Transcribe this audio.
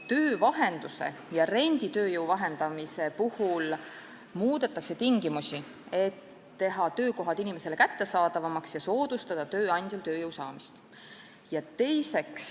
Töövahenduse ja renditööjõu vahendamise puhul muudetakse tingimusi, et teha töökohad inimesele kättesaadavamaks ja soodustada tööandjal tööjõu saamist.